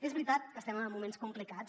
és veritat que estem en moments complicats